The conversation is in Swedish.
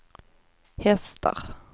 hästar